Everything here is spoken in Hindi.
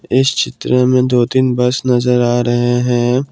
इस चित्र में दो तीन बस नजर आ रहे हैं।